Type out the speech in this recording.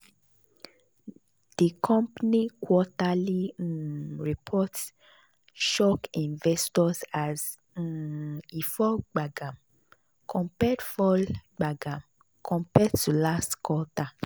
the company quarterly um report shock investors as um e fall gbagam compared fall gbagam compared to last quarter.